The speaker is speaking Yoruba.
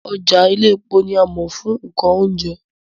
Ọjà Iléepo ni a mọ̀ fún nǹkan oúnjẹ